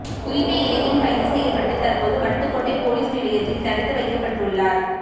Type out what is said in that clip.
குறித்த இளைஞன் கைது செய்யப்பட்டு தற்போது வட்டுக்கோட்டை பொலிஸ் நிலையத்தில் தடுத்து வைக்கப்பட்டுள்ளார்